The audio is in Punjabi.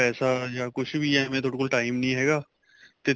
ਪੈਸਾ ਜਾਂ ਕੁੱਛ ਵੀ ਹੈ ਐਵੇਂ ਤੁਹਾਡੇ ਕੋਲ time ਨਹੀਂ ਹੈਗਾ ਤੇ